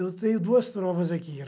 Eu tenho duas trovas aqui.